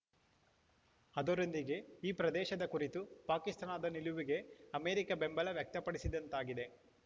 ಅದರೊಂದಿಗೆ ಈ ಪ್ರದೇಶದ ಕುರಿತು ಪಾಕಿಸ್ತಾನದ ನಿಲುವಿಗೆ ಅಮೆರಿಕ ಬೆಂಬಲ ವ್ಯಕ್ತಪಡಿಸಿದಂತಾಗಿದೆ